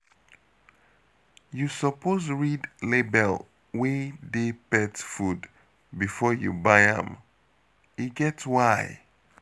You suppose read label wey dey pet food before you buy am, e get why.